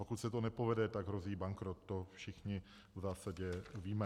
Pokud se to nepovede, tak hrozí bankrot, to všichni v zásadě víme.